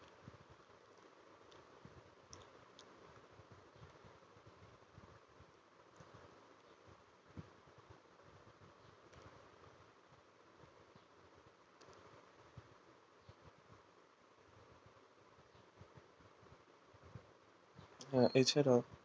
আহ এছাড়াও